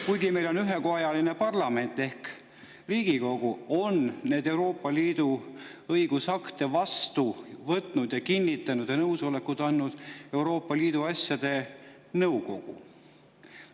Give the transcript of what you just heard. Kuigi meil on ühekojaline parlament ehk Riigikogu, on neid Euroopa Liidu õigusakte vastu võtnud ja kinnitanud ning oma nõusoleku andnud Euroopa Liidu asjade.